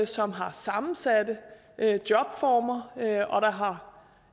som har sammensatte jobformer og der har